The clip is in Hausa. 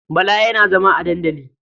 Bala yana zama a dandali.